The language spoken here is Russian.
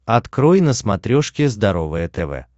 открой на смотрешке здоровое тв